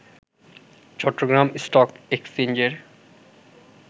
Chittagong stock এক্সচেঞ্জের